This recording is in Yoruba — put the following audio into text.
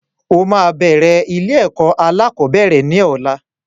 O máa bẹ̀rẹ̀ ilé-ẹ̀kọ́ alákọ̀ọ́bẹ̀rẹ̀ ní ọ̀la.